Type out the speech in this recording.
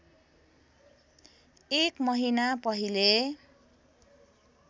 एक महिना पहिले